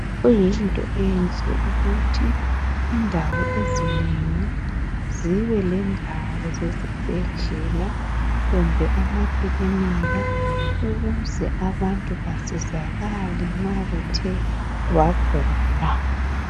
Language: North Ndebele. Kuyinto enhle ukuthi indawo ezinengi zibe lendawo esibhedlela kumbe ama klinika ukuze abantu basizakale nxa begula.